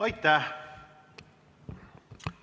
Aitäh!